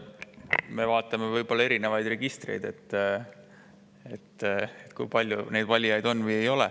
Me vaatame võib-olla erinevaid registreid selle koha pealt, kui palju neid valijaid on või ei ole.